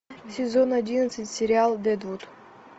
сезон одиннадцать сериал дэдвуд